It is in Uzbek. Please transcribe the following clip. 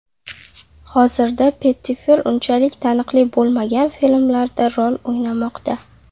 Hozirda Pettifer unchalik taniqli bo‘lmagan filmlarda rol o‘ynamoqda.